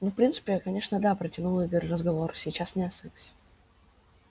ну в принципе конечно да протянул игорь разговор сейчас не о сексе